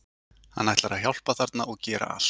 Hann ætlar að hjálpa þarna og gera allt.